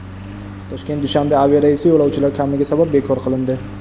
Toshkent Dushanbe aviareysi yo‘lovchilar kamligi sabab bekor qilindi.